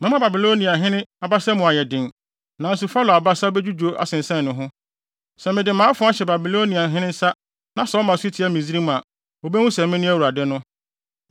Mɛma Babiloniahene abasa mu ayɛ den, nanso Farao abasa bedwudwo asensɛn ne ho. Sɛ mede mʼafoa hyɛ Babiloniahene nsa na ɔma so tia Misraim a, wobehu sɛ mene Awurade no.